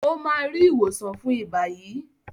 o má rí ìwòsàn fún iba yí.